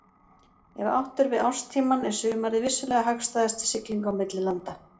Ef átt er við árstímann er sumarið vissulega hagstæðast til siglinga milli landa.